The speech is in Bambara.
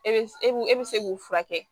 E bɛ e b e bɛ se k'u furakɛ